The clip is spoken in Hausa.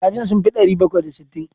Kajin sun fi ɗari bakwai da sittin?